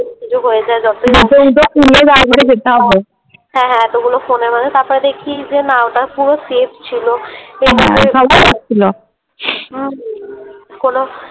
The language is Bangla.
কিছু হয়ে যায় যতই হোক হ্যাঁ হ্যাঁ এতগুলো ফোনের তারপরে দেখছি যে না ওটা পুরো Safe ছিল। হুম হুম কোনো